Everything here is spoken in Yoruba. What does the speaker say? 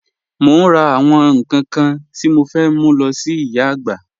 Mo n rà àwọn nkan kan tí mo fẹ́ mú lọ sí ìyà àgbà